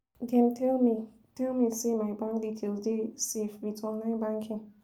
Dem tell me tell me sey my bank details dey safe wit online banking.